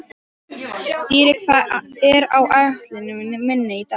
Dýri, hvað er á áætluninni minni í dag?